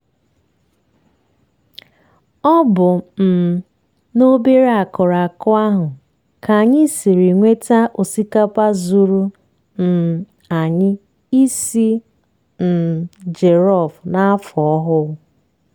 ọ bụ um n'obere akụrụ akụ ahụ ka anyị siri nweta osikapa zuuru um anyị isi um jelọf n'afọ ọhụụ